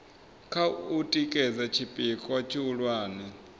kha u tikedza tshipikwa tshihulwane